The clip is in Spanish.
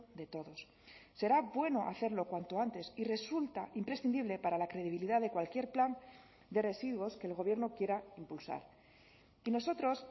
de todos será bueno hacerlo cuanto antes y resulta imprescindible para la credibilidad de cualquier plan de residuos que el gobierno quiera impulsar y nosotros